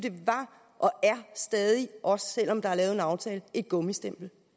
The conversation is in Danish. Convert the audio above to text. stadig er også selv om der er lavet en aftale et gummistempel